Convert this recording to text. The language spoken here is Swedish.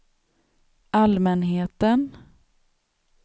allmänheten